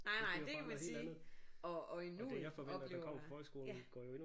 Nej nej det kan man sige og og i nuet oplever man ja